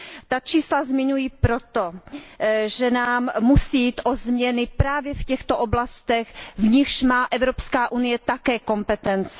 Ta čísla zmiňuji proto, že nám musí jít o změny právě v těchto oblastech, v nichž má Evropská unie také kompetence.